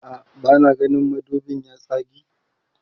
a'a bana gani madubin ya tsage